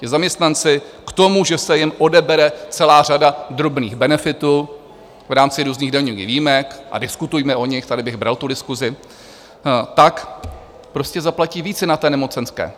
Ti zaměstnanci k tomu, že se jim odebere celá řada drobných benefitů v rámci různých daňových výjimek - a diskutujme o nich, tady bych bral tu diskusi - tak prostě zaplatí více na té nemocenské.